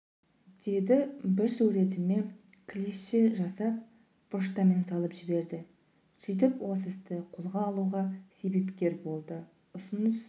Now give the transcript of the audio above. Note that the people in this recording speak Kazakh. деді бір суретіме клише жасап поштамен салып жіберді сөйтіп осы істі қолға алуға себепкер болды ұсыныс